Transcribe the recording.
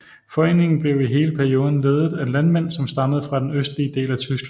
Foreningen blev i hele perioden ledet af landmænd som stammede fra den østlige del af Tyskland